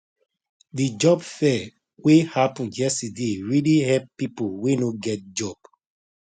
the job fair way happen yesterday really help people way no get work